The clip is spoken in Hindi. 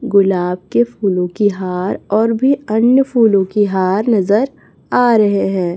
गुलाब के फूलों की हार और भी अन्य फूलों की हार नजर आ रहे हैं।